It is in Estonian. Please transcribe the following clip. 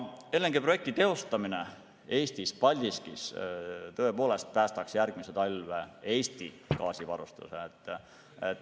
LNG-projekti teostamine Paldiskis tõepoolest päästaks järgmise talve Eesti gaasivarustuse.